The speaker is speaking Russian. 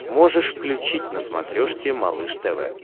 можешь включить на смотрешке малыш тв